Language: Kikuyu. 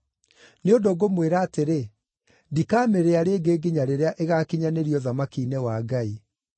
Nĩ ũndũ ngũmwĩra atĩrĩ, ndikamĩrĩa rĩngĩ nginya rĩrĩa ĩgaakinyanĩrio ũthamaki-inĩ wa Ngai.”